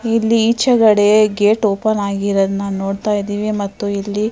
ಇಲ್ಲಿ ಈಚೆಕಡೆ gate open ಆಗಿರದನ್ನ ನೋಡತಾ ಇದ್ದಿವಿ ಮತ್ತು ಇಲ್ಲಿ --